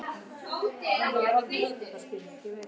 Og hann er búinn að hafa samband út, ég á að koma í prufu.